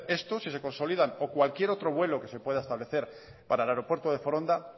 esto si se consolidan o cualquier otro vuelo que se pueda establecer para el aeropuerto de foronda